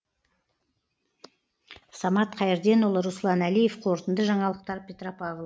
самат қайырденұлы руслан әлиев қорытынды жаңалықтар петропавл